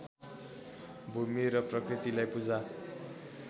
भूमि र प्रकृतिलाई पूजा